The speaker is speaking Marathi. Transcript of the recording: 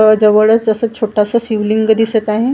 आह जवळच असं छोटंसं शिवलिंग दिसत आहे .